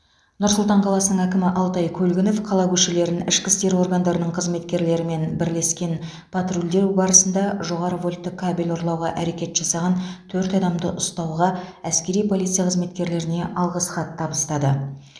нұр сұлтан қаласының әкімі алтай көлгінов қала көшелерін ішкі істер органдарының қызметкерлерімен бірлескен патрульдеу барысында жоғары вольтты кабель ұрлауға әрекет жасаған төрт адамды ұстауға әскери полиция қызметкерлеріне алғыс хат табыстады